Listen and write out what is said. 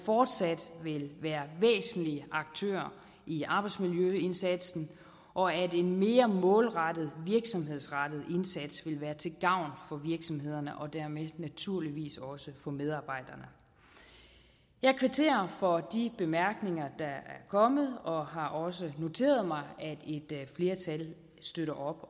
fortsat vil være væsentlige aktører i arbejdsmiljøindsatsen og at en mere målrettet virksomhedsrettet indsats vil være til gavn for virksomhederne og dermed naturligvis også for medarbejderne jeg kvitterer for de bemærkninger der er kommet og har også noteret mig at et flertal støtter op